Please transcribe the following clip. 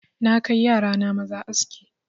Na kai yara na maza aski